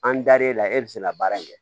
An dar'e la e bɛ se ka baara in kɛ